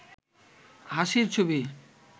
হাসির ছবি